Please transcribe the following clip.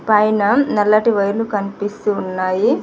పైన నల్లటి వైర్ లు కనిపిస్తూ ఉన్నాయి.